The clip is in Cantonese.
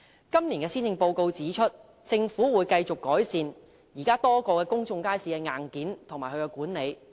今年施政報告指出，政府會繼續改善現時多個公眾街市的硬件和管理。